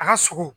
A ka sogo